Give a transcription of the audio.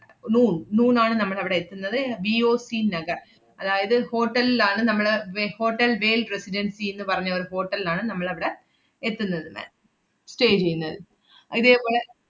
noo~ noon ആണ് നമ്മളവടെ എത്തുന്നത് R V O C Nagar. അതായത് hotel ലാണ് നമ്മള് വെ~ ഹോട്ടൽ വേൽ റെസിഡൻസിന്ന് പറഞ്ഞ ഒരു hotel ലാണ് നമ്മളവടെ എത്തുന്നത് ma'am stay ചെയ്യുന്നത്. അഹ് ഇതേപോലെ,